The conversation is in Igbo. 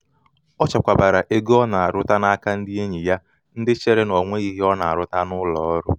o chekwabara ego ọ na aruta na aruta n’aka ndị enyi ya ndị chere na ọnweghị ihe ọ na um aruta n'ụlọ ọrụ um